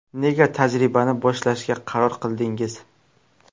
Nega tajribani boshlashga qaror qildingiz?